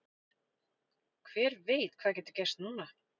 Hver veit hvað getur gerst núna?